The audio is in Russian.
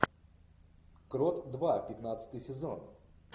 крот два пятнадцатый сезон